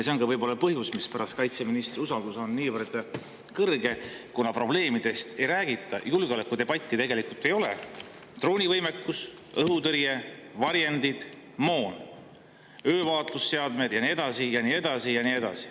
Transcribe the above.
See on ka võib-olla põhjus, mispärast usaldus kaitseministri vastu on niivõrd kõrge: kuna julgeolekudebatti tegelikult ei ole ja ei räägita probleemidest, mis on droonivõimekuse, õhutõrje, varjendite, moona, öövaatlusseadmetega ja nii edasi ja nii edasi ja nii edasi.